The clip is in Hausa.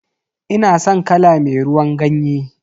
Ina san kala me ruwan ganye.